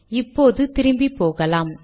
இப்போது திரும்பிப்போகலாம்